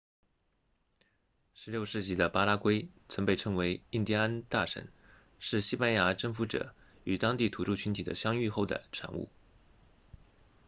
16世纪的巴拉圭曾被称为印第安大省是西班牙征服者与当地土著群体的相遇后的产物